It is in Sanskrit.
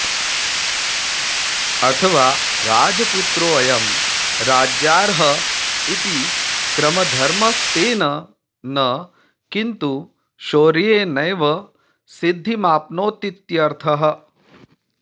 अथवा राजपुत्रोऽयं राज्यार्ह इति क्रमधर्मस्तेन न किंतु शौर्येणैव सिद्धिमाप्नोतीत्यर्थः